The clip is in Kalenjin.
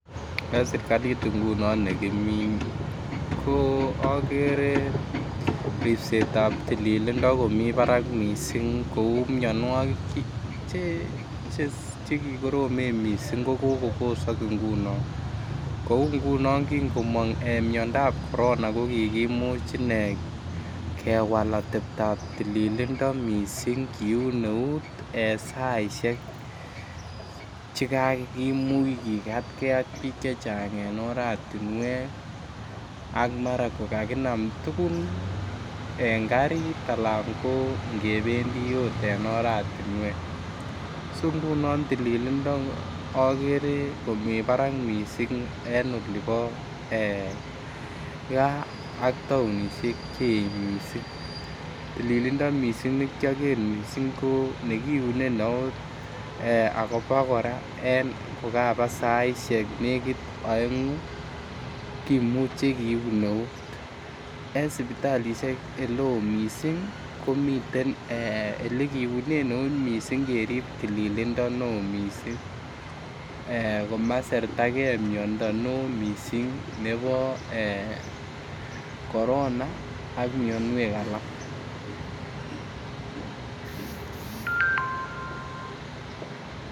En serkalit ngunon ne kimii ko ogere obisitab tilililndo komii Barak missing ko uu mionwokik che kikoromen missing kobosog ngunon kouu ngunon kin komong miondap korona ko kikimuch inee kewal otebtap tilililndo missing kiun neut en saishek che kakimuch kigatgee ak biik chechang en oratinwek ak mara ko kakinam tuguk en garit alan ko ngebendi ot en oratinwek, so ngunon tilililndo ogere komii Barak missing en olipo gaa ak tounishek cheech missing. Tilililndo ne kyoger missing ko nekiune neut akobo koraa kokaba saishek oengu kimuche kiun neut en sipitalishek ele oo missing komiten ole kiunen eut missing kerib tilililndo ne oo missing koma sertagee miondo ne oo missing nebo korona ak mionwek alak